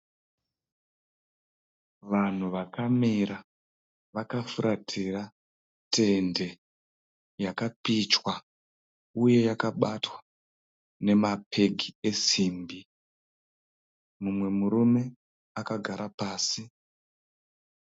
Vanhu vakamira vakafuratira tende yakapichwa uye yakabatwa nemapegi esimbi. Mumwe murune akagara pasi.